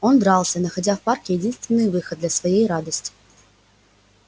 он дрался находя в парке единственный выход для своей радости